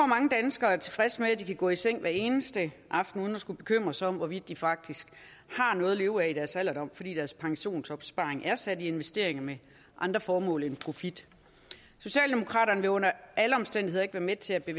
mange danskere er tilfredse med at de kan gå i seng hver eneste aften uden at skulle bekymre sig om hvorvidt de faktisk har noget at leve af i deres alderdom fordi deres pensionsopsparing er sat i investeringer med andre formål end profit socialdemokraterne vil under alle omstændigheder ikke være med til at vi